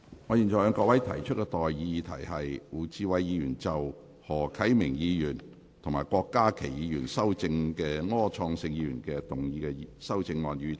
我現在向各位提出的待議議題是：胡志偉議員就經何啟明議員及郭家麒議員修正的柯創盛議員議案動議的修正案，予以通過。